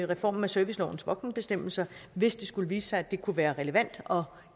reformen af servicelovens voksenbestemmelser hvis det skulle vise sig at det kunne være relevant og